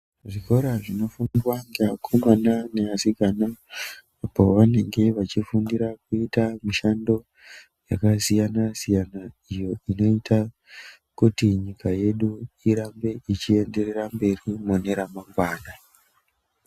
Zvikora zvinofundwa ngeakomana neasikana pavanenge vachifundira kuita mishando yakasiyana siyana iyo inoita kuti nyika yedu irambe ichienderera mberi mune ramangwana.